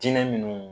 Jinɛ minnu